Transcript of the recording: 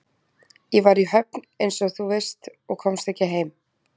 Ég var í Höfn einsog þú veist og komst ekki heim.